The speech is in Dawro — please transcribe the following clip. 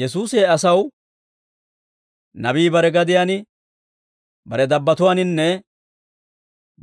Yesuusi he asaw, «Nabii bare gadiyaan, bare dabbatuwaaninne